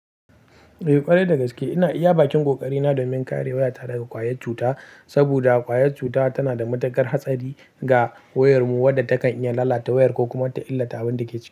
Eh ƙwarai da gaske ina iya bakin ƙoƙari na domin kare waya ta daga ƙwayar cuta, saboda ƙwayar cuta tana da matuƙar hatsari ga wayar mu wadda takan iya lalata wayar ko kuma ta illata abinda take ciki.